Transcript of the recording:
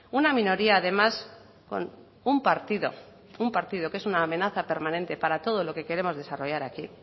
una minoría además con un partido un partido que es una amenaza permanente para todo lo que queremos desarrollar aquí